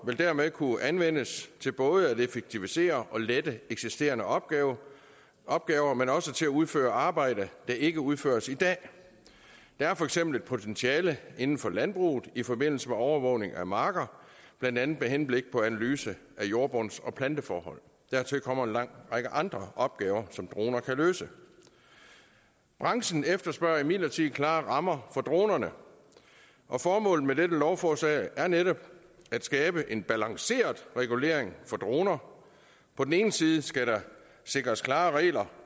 vil dermed kunne anvendes til både at effektivisere og lette eksisterende opgaver opgaver men også til at udføre arbejde der ikke udføres i dag der er for eksempel et potentiale inden for landbruget i forbindelse med overvågning af marker blandt andet med henblik på analyse af jordbunds og planteforhold dertil kommer en lang række andre opgaver som droner kan løse branchen efterspørger imidlertid klare rammer for dronerne formålet med dette lovforslag er netop at skabe en balanceret regulering for droner på den ene side skal der sikres klare regler